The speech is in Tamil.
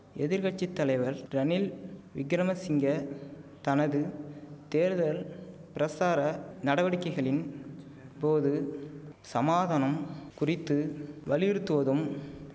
எதிர் கட்சி தலைவர் ரணில் விக்கிரமசிங்க தனது தேர்தல் பிரசார நடவடிக்கைகளின் போது சமாதானம் குறித்து வலியுறுத்துவதும்